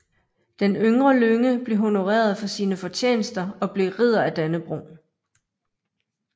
Den yngre Lynge blev honoreret for sine fortjenester og blev Ridder af Dannebrog